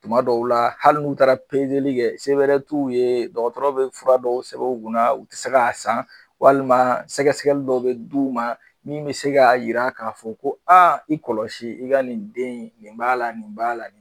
Tuma dɔw la hali n'u taara kɛ, se bɛrɛ t'u ye dɔkɔtɔrɔ bɛ fura dɔw sɛbɛn u kunna, u ti se k'a san walima sɛgɛsɛgɛli dɔw be d'u ma, mun bi se k'a yira k'a fɔ ko i kɔlɔsi, i ka nin den nin b'a la nin b'a la nin